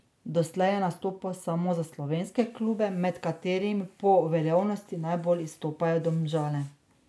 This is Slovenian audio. Doslej je nastopal samo za slovenske klube, med katerimi po uveljavljenosti najbolj izstopajo Domžale.